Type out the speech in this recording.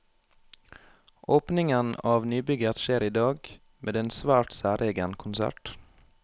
Åpningen av nybygget skjer i dag, med en svært særegen konsert.